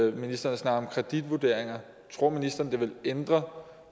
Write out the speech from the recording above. at ministeren snakker om kreditvurderinger tror ministeren at det vil ændre